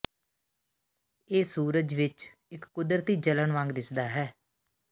ਇਹ ਸੂਰਜ ਵਿੱਚ ਇੱਕ ਕੁਦਰਤੀ ਜਲਣ ਵਾਂਗ ਦਿਸਦਾ ਹੈ